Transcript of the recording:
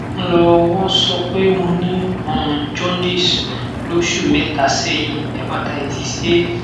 nl o won so pe mo ni um jaundice loṣu mẹta sẹyin hepatitis a